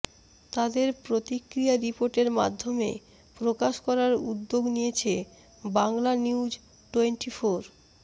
তাদের প্রতিক্রিয়া রিপোর্টের মাধ্যমে প্রকাশ করার উদ্যোগ নিয়েছে বাংলানিউজটোয়েন্টিফোর